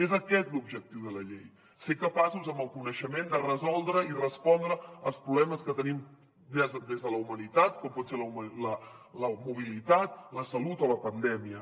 és aquest l’objectiu de la llei ser capaços amb el coneixement de resoldre i respondre als problemes que tenim des de la humanitat com pot ser la mobilitat la salut o la pandèmia